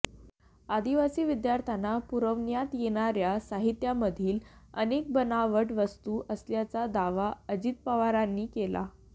आदिवासी विद्यार्थ्यांना पुरवण्यात येणाऱ्या साहित्यामधील अनेक बनावट वस्तू असल्याचा दावा अजित पवारांनी केला